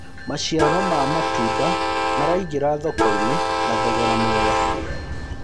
maciaro ma matunda maraingira thoko-inĩ na thoogora mwega